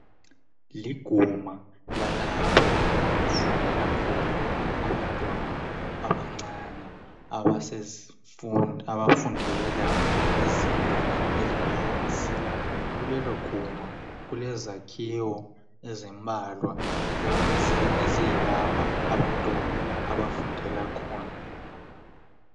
Liguma lalapho okufundela khona abantwana abancane abafundela ezingeni eliphansi. Kulelo guma kulezakhiwo ezimbalwa eziyilapha abantwana abafundela khona.